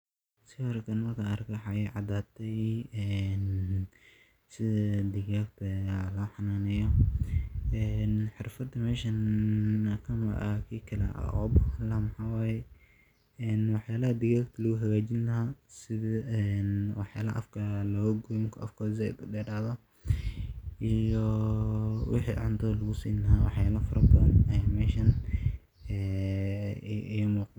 Sawirkannmarki an ege waxaa I cadate sitha digagta lo xananeyo ee xirfad meshan marku afka said uderadho aya san lagagu sameya.